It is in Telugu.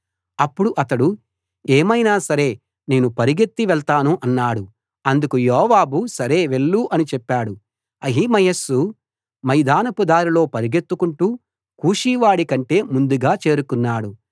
అప్పుడు అతడు ఏమైనా సరే నేను పరుగెత్తి వెళ్తాను అన్నాడు అందుకు యోవాబు సరే వెళ్ళు అని చెప్పాడు అహిమయస్సు మైదానపు దారిలో పరుగెత్తుకుంటూ కూషీవాడి కంటే ముందుగా చేరుకున్నాడు